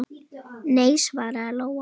Nei, svaraði Lóa.